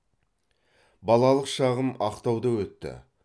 балалық шағым ақтауда өтті